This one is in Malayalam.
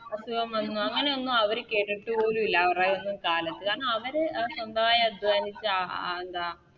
അസുഖം വന്ന് അങ്ങനെയൊന്നും അവര് കേട്ടിട്ട് പോലുല്ല അവരെയൊന്നും കാലത്ത് കാരണം അവര് സ്വന്തമായി അധ്വാനിച്ച് എന്താ